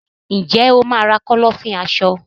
Ǹjẹ́ o máà ra Kọ́lọ́fín aṣọ?